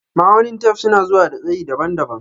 Ma'aunin tef suna zuwa da tsayi daban-daban.